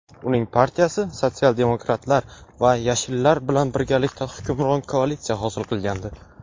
uning partiyasi sotsial-demokratlar va Yashillar bilan birgalikda hukmron koalitsiya hosil qilgandi.